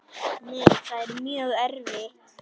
Nei, það er mjög erfitt.